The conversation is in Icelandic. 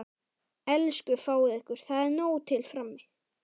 Elsku fáið ykkur, það er nóg til frammi.